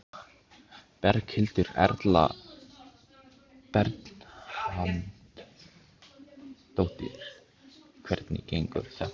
Berghildur Erla Bernharðsdóttir: Hvernig gengur þetta?